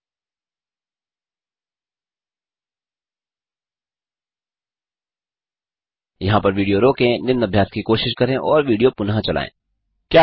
यहाँ पर विडियो रोकें निम्न अभ्यास की कोशिश करें और पुनः विडियो चलायें